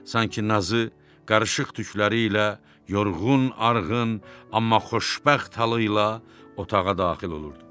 Sanki nazı qarışıq tükləri ilə yorğun, arğın, amma xoşbəxt halı ilə otağa daxil olurdu.